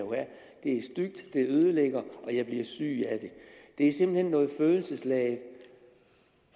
det er stygt det ødelægger og jeg bliver syg af det det er simpelt hen noget følelsesladet